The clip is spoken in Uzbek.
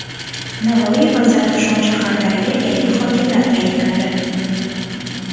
Navoiy va Zarafshon shaharlariga yangi hokimlar tayinlandi.